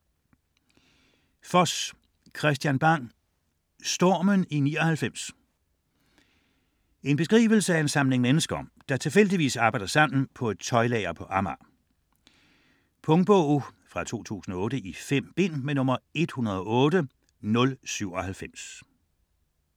Foss, Kristian Bang: Stormen i 99 En beskrivelse af en samling mennesker, der tilfældigvis arbejder sammen på et tøjlager på Amager. Punktbog 108097 2008. 5 bind.